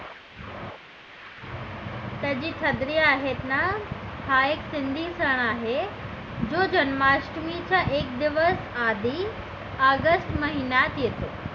तर जे आहेत ना हा एक सिंधी सण आहे जो जन्माष्टमीच्या एक दिवस आधी august महिन्यात येतो.